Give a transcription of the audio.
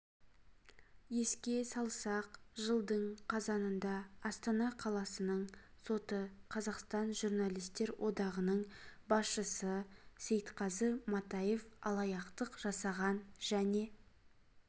еске салсақ жылдың қазанында астана қаласының соты қазақстан журналистер одағының басшысы сейтқазы матаев алаяқтық жасаған және